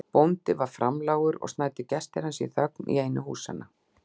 Bóndi var framlágur og snæddu gestir hans í þögn í einu húsanna.